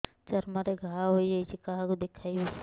ଚର୍ମ ରେ ଘା ହୋଇଯାଇଛି କାହାକୁ ଦେଖେଇବି